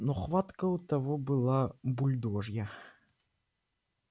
но хватка у того была бульдожья